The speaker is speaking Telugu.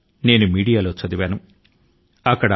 అది అరుణాచల్ ప్రదేశ్ కు చెందిన గాథ